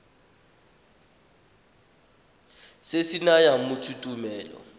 se se nayang motho tumelelo